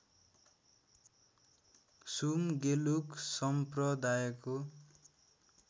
सुम गेलुक सम्प्रदायको